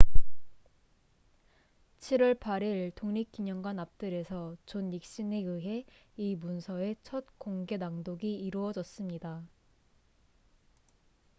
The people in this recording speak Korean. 7월 8일 독립기념관 앞뜰에서 존 닉슨에 의해 이 문서의 첫 공개 낭독이 이루어졌습니다